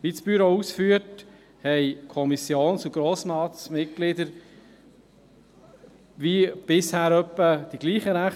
Wie das Büro ausführt, haben Kommissions- und Grossratsmitglieder in etwa dieselben Rechte wie bisher.